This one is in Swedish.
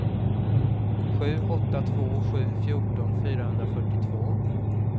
sju åtta två sju fjorton fyrahundrafyrtiotvå